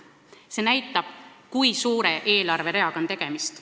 See näitab, kui tähtsa eelarvereaga on tegemist.